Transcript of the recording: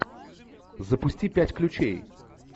запусти пять ключей